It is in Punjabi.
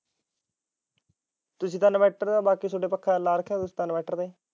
ਤੁਸੀਂ ਤਾ inverter ਬਾਕੀ ਤੇ ਪੱਖਾ ਲਵਾ ਰੱਖਿਆ